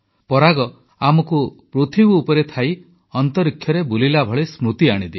ପରାଗ ଆମକୁ ପୃଥିବୀ ଉପରେ ଥାଇ ମହାକାଶରେ ବୁଲିଲା ଭଳି ସ୍ମୃତି ଆଣିଦିଏ